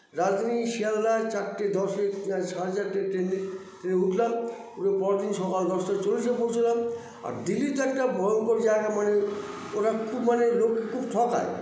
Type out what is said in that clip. রাজধানী শিয়ালদায় চারটে দশে সাড়ে চারটে train -এ train - এ উঠলাম উঠে পরেরদিন সকাল দশটা চল্লিশে পৌছলাম আর দিল্লিতে একটা ভয়ঙ্কর জায়গা মানে ওরা খুব মানে লোককে খুব ঠকায়